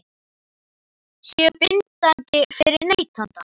Séu bindandi fyrir neytanda?